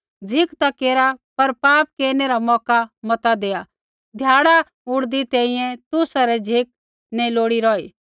झ़िक ता केरा पर पाप केरनै रा मौका मत देआ ध्याड़ा उड़दै तैंईंयैं तुसा री झ़िक नैंई लोड़ी रौही